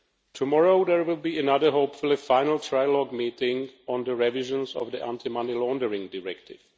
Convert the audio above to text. Tomorrow there will be another hopefully final trilogue meeting on the revisions of the Anti-Money Laundering Directive.